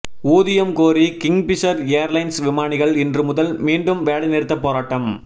ஊதியம் கோரி Kingfisher Airlines விமானிகள் இன்று முதல் மீண்டும் வேலை நிறுத்த போராட்டம்